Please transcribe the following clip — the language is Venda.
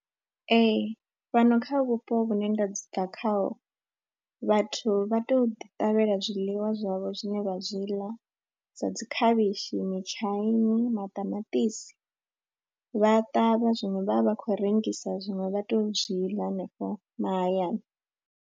Ee, fhano kha vhupo vhune nda bva khaho vhathu vha tou ḓiṱavhela zwiḽiwa zwavho zwine vha zwi ḽa sa dzi khavhishi, mitshaini, maṱamaṱisi. Vha ṱavha zwiṅwe vha vha vha khou rengisa zwiṅwe vha tou zwi ḽa hanefha mahayani.